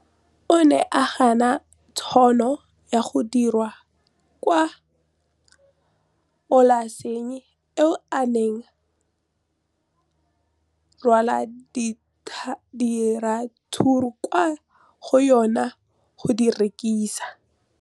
O ne a gana tšhono ya go dira kwa polaseng eo a neng rwala diratsuru kwa go yona go di rekisa.